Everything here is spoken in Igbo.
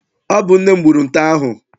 Ọ bụ nne m gburu nte ahụ.